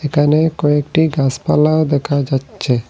এখানে কয়েকটি গাসপালাও দেখা যাচ্ছে।